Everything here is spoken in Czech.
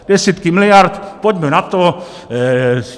Desítky miliard, pojďme na to.